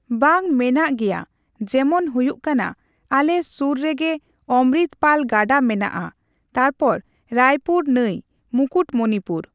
ᱵᱟᱝ ᱢᱮᱱᱟᱜ ᱜᱮᱭᱟ ᱡᱮᱢᱚᱱ ᱦᱩᱭᱩᱜ ᱠᱟᱱᱟ ᱟᱞᱮ ᱥᱩᱨ ᱨᱮᱜᱮ ᱚᱢᱨᱤᱛ ᱯᱟᱞ ᱜᱟᱰᱟ ᱢᱮᱱᱟᱜᱼᱟ ᱛᱟᱯᱚᱨ ᱨᱟᱭᱯᱩᱨ ᱱᱟᱹᱭ, ᱢᱩᱠᱩᱴᱢᱚᱱᱤᱯᱩᱨ᱾